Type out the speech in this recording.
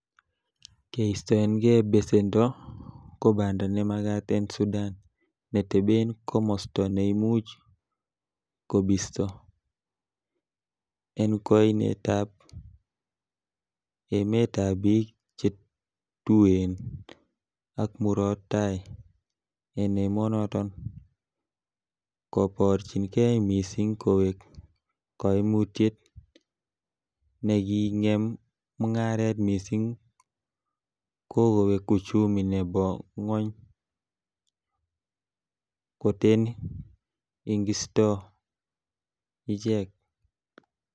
Keistonge besendo, ko banda nemagat en Sudan, neteben komosto neimuch kobiisto, en kuinetab emetab bik che tuen ak Murot Tai en emonoton, koborchinge missing kowek koimutiet nekingem mungaret missing ko kowek uchumi nebo gwony koten ingistoo ichek.